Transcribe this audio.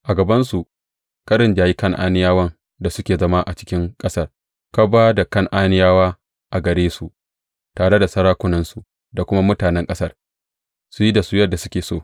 A gabansu ka rinjayi Kan’aniyawan da suke zama a cikin ƙasar; ka ba da Kan’aniyawa a gare su, tare da sarakunansu da kuma mutanen ƙasar, su yi da su yadda suke so.